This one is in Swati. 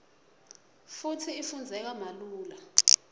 futsi ifundzeka malula